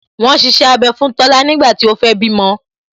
Wọn ṣiṣẹ́ abẹ fún Tola nígbà tí ó fẹ́ bímọ